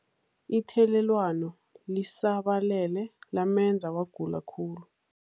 Ithelelwano lisabalele lamenza wagula khulu.